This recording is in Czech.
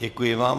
Děkuji vám.